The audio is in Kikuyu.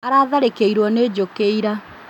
Aratharĩkĩirwo nĩ njũkĩ ira